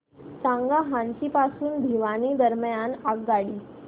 सांगा हान्सी पासून भिवानी दरम्यान आगगाडी